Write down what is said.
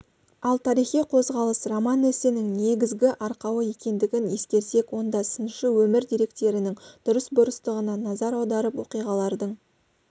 ал тарихи қозғалыс роман-эссенің негізгі арқауы екендігін ескерсек онда сыншы өмір деректерінің дұрыс-бұрыстығына назар аударып оқиғалардың